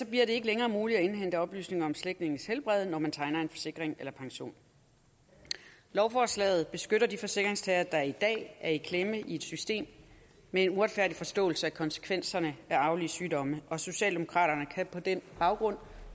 bliver det ikke længere muligt at indhente oplysninger om slægtninges helbred når man tegner en forsikring eller pension lovforslaget beskytter de forsikringstagere der i dag er i klemme i et system med en uretfærdig forståelse af konsekvenserne af arvelige sygdomme og socialdemokraterne kan på den baggrund